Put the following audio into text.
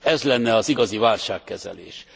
Ez lenne az igazi válságkezelés.